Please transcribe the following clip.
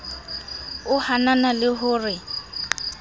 o hanana le ho re